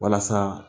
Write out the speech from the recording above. Walasa